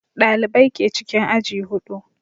Ɗalibai ke cikin aji huɗu